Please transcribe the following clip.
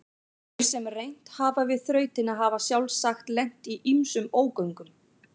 Þeir sem reynt hafa við þrautina hafa sjálfsagt lent í ýmsum ógöngum.